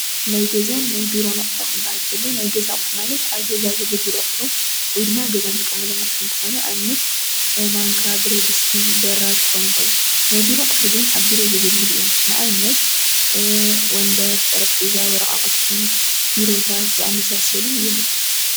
ናይ ገዛን ናይ ቢሮ ኣቑሑ ክበሃል ከሎ ናይ ገዛ ኣቑሑ ማለት ኣብ ገዛ ዘገልግሉ ኣቑሑ ወይ ድማ ኣብ ገዛ እንጥቀመሎም ኣቁሑ እንትኾኑ ኣብነት ማንካ ፣ብረድስቲ ፣በራድ ክኾኑ ይኽእሉ። ናይ ቢሮ ኣቁሑ ግን ኣብ ቢሮ ዘገልግሉ ኣቑሑ እንትኾኑ ንኣብነት ወንበር፣ ጠረጴዛ ፣ወራቃቅቲ፣ ቢሮታት ዝኣመሳሰሉ እዮም ።